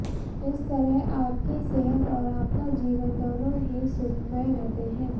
इस तरह आपकी सेहत और आपका जीवन दोनों ही सुखमय रहते हैं